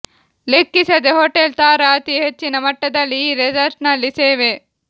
ಲೆಕ್ಕಿಸದೆ ಹೋಟೆಲ್ ತಾರಾ ಅತಿ ಹೆಚ್ಚಿನ ಮಟ್ಟದಲ್ಲಿ ಈ ರೆಸಾರ್ಟ್ನಲ್ಲಿ ಸೇವೆ